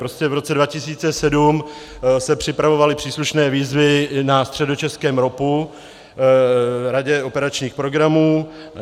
Prostě v roce 2007 se připravovaly příslušné výzvy na středočeském ROPu, radě operačních programů.